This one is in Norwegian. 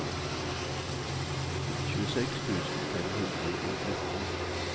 tjueseks tusen fem hundre og nitten